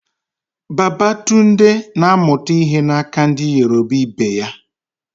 Babatunde na amuta ihe na aka ndi Yoruba Ibe ya